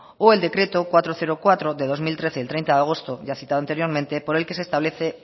o el decreto cuatrocientos cuatro de dos mil trece del treinta de agosto ya citado anteriormente por el que se establece